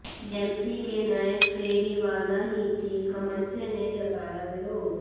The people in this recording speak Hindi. बीएमसी के नए फेरीवाला नीति का मनसे ने जताया विरोध